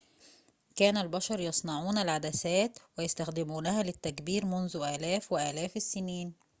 كان البشر يصنعون العدسات ويستخدمونها للتكبير منذ آلاف وآلاف السنين